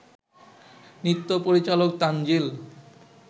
নৃত্য পরিচালক তানজিল